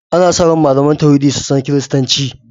Ana sa ran malaman tauhidi su san Kiristanci.